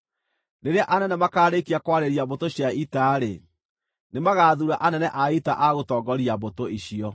Rĩrĩa anene makaarĩkia kwarĩria mbũtũ cia ita-rĩ, nĩmagathuura anene a ita a gũtongoria mbũtũ icio.